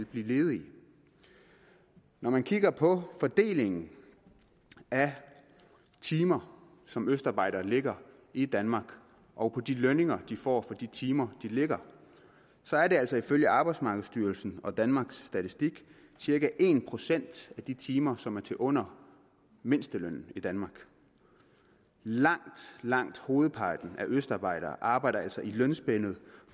blive ledige når man kigger på fordelingen af timer som østarbejdere lægger i danmark og på de lønninger de får for de timer de lægger så er det altså ifølge arbejdsmarkedsstyrelsen og danmarks statistik cirka en procent af de timer som er til under mindstelønnen i danmark langt langt hovedparten af østarbejdere arbejder altså i lønspændet